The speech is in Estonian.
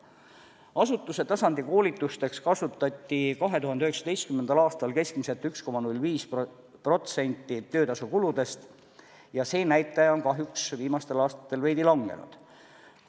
Asutuse tasandi koolitusteks kasutati 2019. aastal keskmiselt 1,05% töötasukuludest ja see näitaja on kahjuks viimastel aastatel veidi langenud.